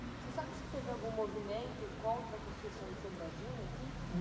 Você sabe se teve algum movimento contra a construção de Sobradinho aqui?